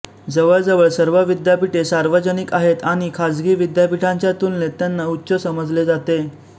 जवळजवळ सर्व विद्यापीठे सार्वजनिक आहेत आणि खाजगी विद्यापीठांच्या तुलनेत त्यांना उच्च समजले जाते